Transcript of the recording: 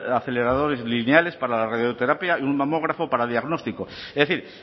aceleradores lineales para la radioterapia y un mamógrafo para diagnóstico es decir